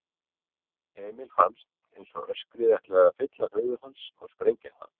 Emil fannst einsog öskrið ætlaði að fylla höfuð hans og sprengja það.